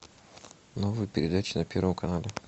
новые передачи на первом канале